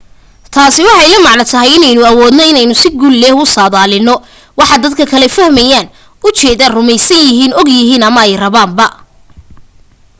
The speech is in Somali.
taasi waxay la macno tahay inaynu awoodno inay si guul leh u saadaalino waxa dadka kale fahmaan u jeedaan rumaysan yihiiin og yihiin ama rabaan